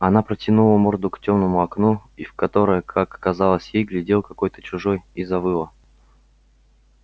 она протянула морду к тёмному окну и в которое как казалось ей глядел какой-то чужой и завыла